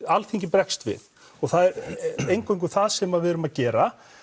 Alþingi bregst við það er eingöngu það sem við erum að gera